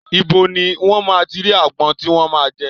Ibo ní wón máa ti rí àgbon tí wọn máa jẹ?